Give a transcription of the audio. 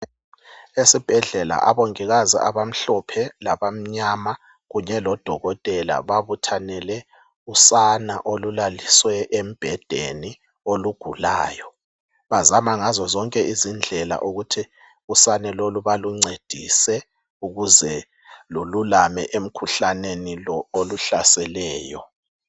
Esibhedlela abongikazi abamhlophe labamnyama kunye lodokotela babuthanele usana olulaliswe embhedeni olugulayo , bazama ngazo zonke izindlela ukuthi usana lolu baluncedise ukuze lululame emkhuhlaneni lo oluhlaseleyo